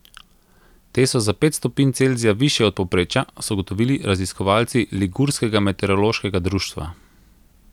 Te so za pet stopinj Celzija višje od povprečja, so ugotovili raziskovalci ligurskega meteorološkega društva.